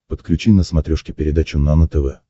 подключи на смотрешке передачу нано тв